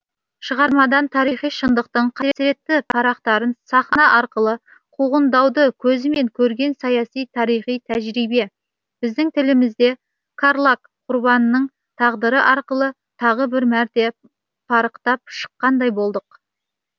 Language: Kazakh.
шығармадан тарихи шындықтың қасіретті парақтарын сахна арқылы қуғындауды көзімен көрген саяси тарихи тәжірибе біздің тілімізде карлаг құрбанының тағдыры арқылы тағы бір мәрте парықтап шыққандай болдық